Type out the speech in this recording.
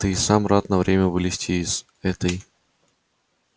ведь ты и сам рад на время вылезти из этой